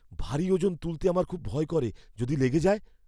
ভারী ওজন তুলতে আমার খুব ভয় করে। যদি লেগে যায়?